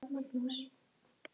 Þegar það minnkar fækkar fálkum.